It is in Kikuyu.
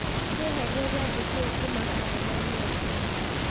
kĩeherie gĩathĩ kĩu kuma karenda-inĩ yakwa